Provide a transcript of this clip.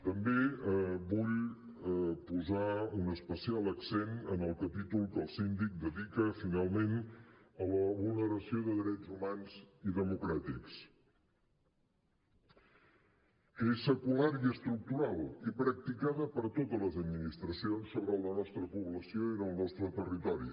també vull posar un especial accent en el capítol que el síndic dedica finalment a la vulneració de drets humans i democràtics que és secular i estructural i practicada per totes les administracions sobre la nostra població i el nostre territori